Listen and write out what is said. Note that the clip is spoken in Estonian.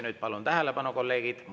Nüüd palun tähelepanu, kolleegid!